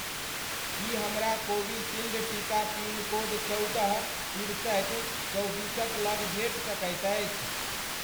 की हमरा कोविशील्ड टीका pin code चौदह, तिरसठि, चौबीसक लग भेट सकैत अछि?